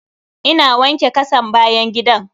Ina wanke kasan bayan gidan.